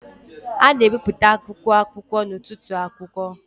a na-ebipụta akwụkwọ akụkọ n'ọtụtụ akwụkwọ